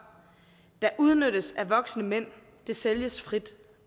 der udnyttes af voksne mænd sælges frit